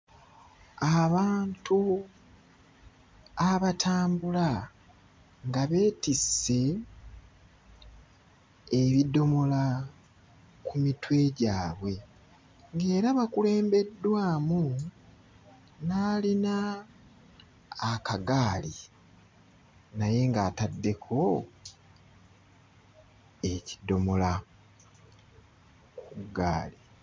Abantu abatambula nga beetisse ebidomola ku mitwe gyabwe, ng'era bakulembeddwamu n'alina akagaali naye ng'ataddeko ekidomola ku ggaali.